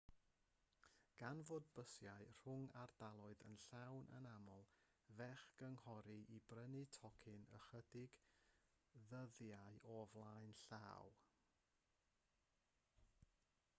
gan fod y bysiau rhwng ardaloedd yn llawn yn aml fe'ch cynghorir i brynu tocyn ychydig ddyddiau o flaen llaw